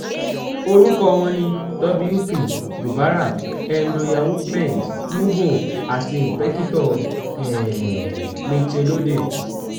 orúkọ wọn ni wp doubara edonyawoòpments mugo àti ìńpèkìtò um michelodey